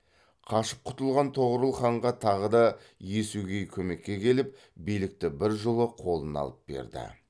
қашып құтылған тоғорыл ханға тағы да есугей көмекке келіп билікті біржола қолына алып берді